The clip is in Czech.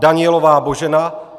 Danielová Božena